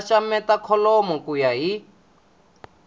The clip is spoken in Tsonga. xaxameta kholomo ku ya hi